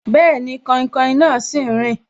Bẹẹni, kainkain náà sì ń rin